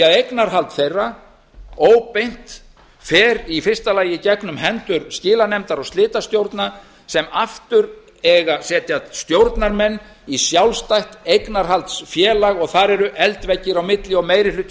að eignarhald þeirra óbeint fer í fyrsta lagi í gegnum hendur skilanefndar og slitastjórna sem aftur eiga að setja stjórnarmenn í sjálfstætt eignarhaldsfélag og þar eru eldveggir á milli og meiri hluti